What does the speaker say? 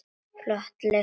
Flotar leysa festar.